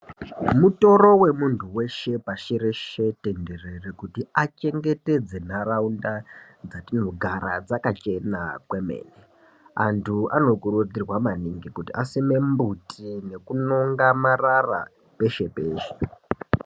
Mutoro wemuntu weshe pashi reshe tenderere kuti achengetedze ntaraunda dzatinogara dzakachena kwemene antu anokurudzirwa maningi kuti asime mumbuti nekunonga marara peshe peshe.